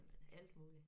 Alt muligt